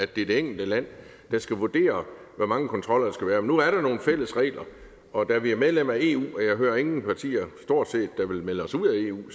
at det er det enkelte land der skal vurdere hvor mange kontroller der skal være nu er der jo nogle fælles regler og da vi er medlem af eu og jeg hører ingen partier der vil melde os ud af eu